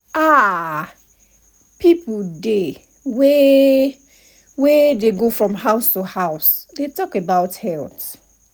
ah people dey wey wey dey go from house to house dey talk about health.